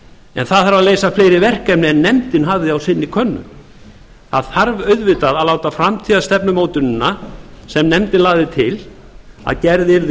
en það þarf að leysa fleiri verkefni en nefndin hafði á sinni könnu það þarf auðvitað að láta framtíðarstefnumótunina sem nefndin lagði til að gerð yrði